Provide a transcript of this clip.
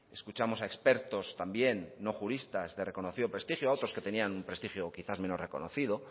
escuchamos a expertos también no juristas de reconocido prestigio a otros que tenían un prestigio quizás menos reconocido